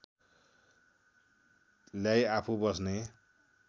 ल्याई आफू बस्ने